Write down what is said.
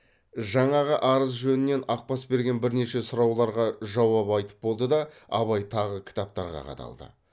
жаңағы арыз жөнінен ақбас берген бірнеше сұрауларға жауап айтып болды да абай тағы кітаптарға қадалды